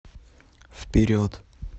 вперед